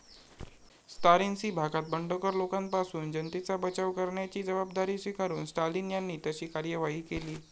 त्सारिसीं भागात बंडखोर लोकांपासून जनतेचा बचाव करण्याची जबाबदारी स्वीकारून स्टालिन यांनी तशी कार्यवाही केली.